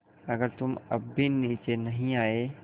अगर तुम अब भी नीचे नहीं आये